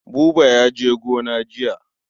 Buba ya je gona jiya.